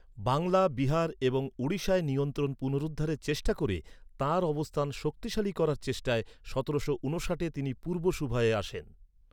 বাংলা, বিহার এবং ওড়িশায় নিয়ন্ত্রণ পুনরুদ্ধারের চেষ্টা করে তাঁর অবস্থান শক্তিশালী করার চেষ্টায় সতেরোশো ঊনষাটে তিনি পূর্ব সুবাহে আসেন।